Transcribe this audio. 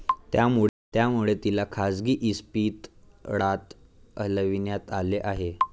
त्यामुळे तिला खासगी इस्पितळात हलविण्यात आले आहे.